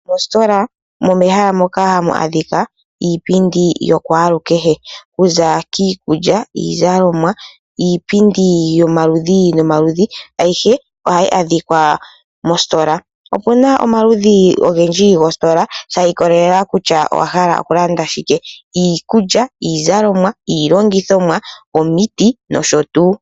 Mositola omehala moka hamu adhika iipindi yokwalukehe. Okuza kiikukya, iizalomwa, iipindi yomaludhi nomaludhi, ayihe ohayi adhika mositola. Opuna omaludhi ogendji goositola shi ikolelela kutya owahala okulanda shike. Iikukya, iizalomwa, iilongithithomwa , omuti nosho tuu.